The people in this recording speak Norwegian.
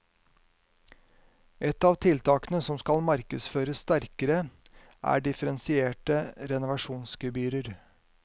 Ett av tiltakene som skal markedsføres sterkere er differensierte renovasjonsgebyrer.